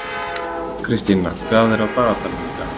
Kristína, hvað er á dagatalinu í dag?